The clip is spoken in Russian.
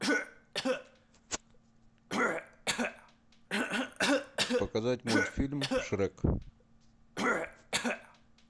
показать мультфильм шрек